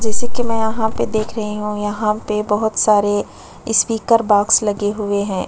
जैसे कि मैं यहाँ पे देख रही हूं यहाँ पे बहोत सारे स्पीकर बॉक्स लगे हुए हैं।